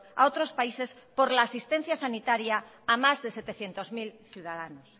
a otros países por la asistencia sanitaria a más de setecientos mil ciudadanos